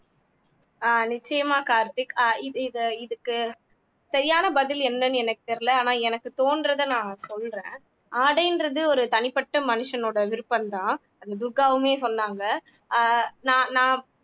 ஆஹ் நிச்சயமா கார்த்திக் ஆஹ் இது இது இதுக்கு சரியான பதில் என்னன்னு எனக்கு தெரியலே ஆனா எனக்கு தோன்றதை நான் சொல்றேன் ஆடைன்றது ஒரு தனிப்பட்ட மனுஷனோட விருப்பம்தான் அது துர்காவுமே சொன்னாங்க ஆஹ் நான் நான்